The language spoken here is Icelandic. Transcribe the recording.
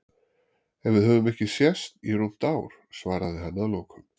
En við höfum ekki sést í rúmt ár, svaraði hann að lokum.